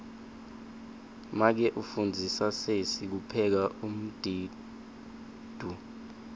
make ufundzisa sesi kupheka umdiduo